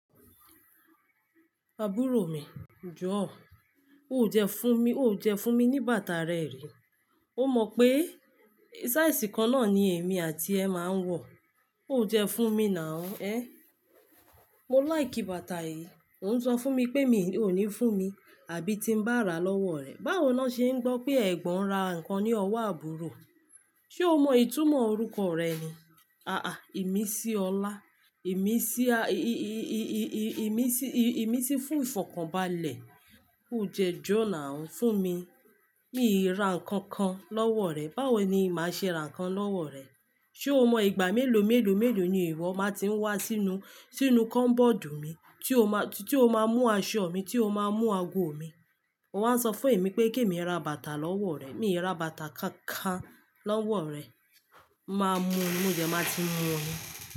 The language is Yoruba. Àbúrò mi, jọ̀ọ́, ó jẹ fún mi, ó jẹ fún mi ní bàtà rẹ rí. Ó mọ pé size kan náà ni èmi àtiẹ máa ń wọ̀, ó dẹ fún mi now, ẹ́. Mo like bàtà yìí, òun ń sọ fún mi pé ò ní fún mi, àbí tí ń bá rà lọ́wọ́ rẹ̀. Báwo ni wọ́n ṣe ń gbọ́ pé ẹ̀gbọ́n ra nǹkan ní ọwọ́ àbúrò? Ṣ'o mọ ìtumọ̀ orúkọ rẹ ni? À-à, ìmísí ọlá. Ìmísí, ìmísí, ìmísí fún ìfọ̀kànbalẹ̀. Ó dẹ jọ̀ọ́ now fún mi. Mi ò ra nǹkan kan lọ́wọ́ rẹ. Báwo ni màá ṣe ra nǹkan lọ́wọ́ rẹ? Ṣé o mọ ìgbà mélòó mélòó mélòó ni ìwọ máa ti ń wá sínú, sínú komboòdù mi, tí o máa, tí o máa mú aṣọ mi, tí o máa mú ago mi. Ò wań sọ fún èmi pé kí èmi rà bàtà lọ́wọ́ rẹ̀. Mi ò ra bàtà kan kan lọ́wọ́ rẹ. Máa mú, mó dẹ máa ti mú ni.